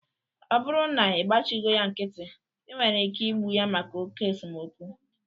Ọ bụrụ na-ịgbachighọ ya nkịtị, I nwere ike igbu ya maka oké esemokwu